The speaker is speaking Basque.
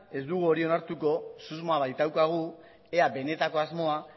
ez dugu hori onartuko susmoa baitaukagu ea benetako asmoa